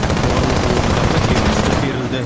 жоғары оқу орындарына дербестік берілді